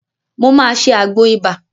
Mo máa ṣe àgbo ibà